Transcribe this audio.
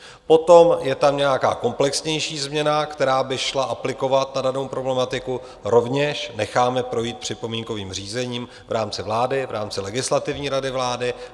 Potom je tam nějaká komplexnější změna, která by šla aplikovat na danou problematiku, rovněž necháme projít připomínkovým řízením v rámci vlády, v rámci Legislativní rady vlády.